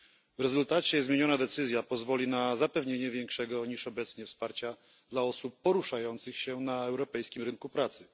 W rezultacie zmieniona decyzja pozwoli na zapewnienie większego niż obecnie wsparcia dla osób poruszających się na europejskim rynku pracy.